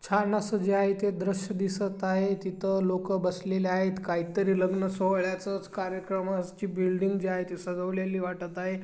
छान अस जे आहे ते दृश्य दिसत आहे तिथ लोक बसलेले आहेत काहीतरी लग्न सोहळ्याचच कार्यक्रमाची जी बिल्डिंग जे आहे ते सजवलेली वाटत आहे.